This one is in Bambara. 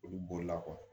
Olu bolila kɔ